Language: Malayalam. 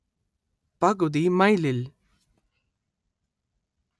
പകുതി മൈലിൽ